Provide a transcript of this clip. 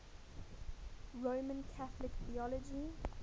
roman catholic theology